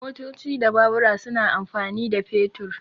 Motoci da Babura suna amfani da fetur.